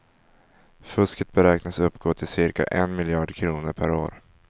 Fusket beräknas uppgå till cirka en miljard kronor per år.